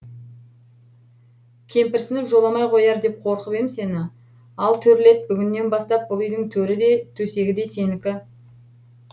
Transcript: кемпірсініп жоламай қояр деп қорқып ем сені ал төрлет бүгіннен бастап бұл үйдің төрі де төсегі де сенікі